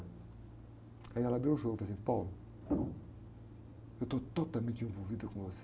Aí ela abriu o jogo e falou assim, eu estou totalmente envolvida com você.